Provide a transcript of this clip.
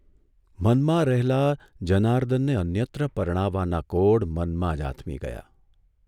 મનમાં રહેલા જનાર્દનને અન્યત્ર પરણાવવાના કોડ મનમાં જ આથમી ગયાં.